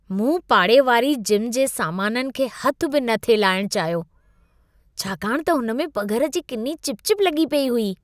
मूं पाड़े वारी जिम जे सामाननि खे हथु बि न थिए लाहिणु चाहियो। छाकाणि त हुन में पघर जी किनी चिपचिप लॻी पेई हुई।